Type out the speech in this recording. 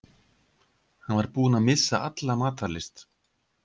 Hann var búinn að missa alla matar lyst.